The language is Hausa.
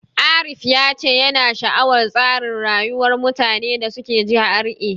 Arif ya ce yana sha'awar tsarin rayuwar mutanen da suke GRA.